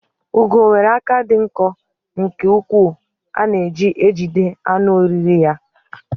Ugo nwere aka dị nkọ nke ukwuu a na-eji ejide anụ oriri ya.